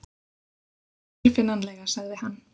Ekki tilfinnanlega sagði hann.